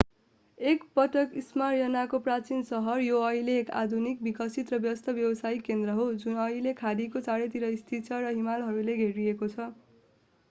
एक पटक स्मायर्नाको प्राचीन सहर यो अहिले एक आधुनिक विकसित र व्यस्त व्यवसायिक केन्द्र हो जुन अहिले खाडीको चारैतिर स्थित छ र हिमालहरूले घेरिएको छ